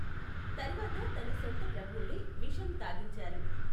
తర్వాత తన సొంత ప్రభువులే విషం తాగించారు.